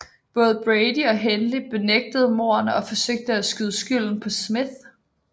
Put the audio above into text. Både Brady og Hindley benægtede mordene og forsøgte at skyde skylden på Smith